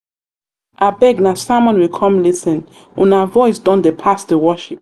abeg na sermon we come lis ten una voice don dey don dey pass di worship.